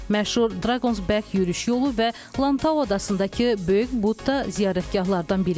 Məşhur Dragonsback yürüş yolu və Lantau adasındakı Böyük Budda ziyarətgahlardan biridir.